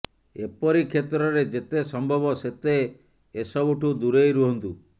ଏପରି କ୍ଷେତ୍ରରେ ଯେତେ ସମ୍ଭବ ସେତେ ଏସବୁଠୁ ଦୂରେଇ ରୁହନ୍ତୁ